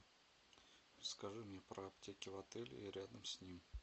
скажи мне про аптеки в отеле и рядом с ним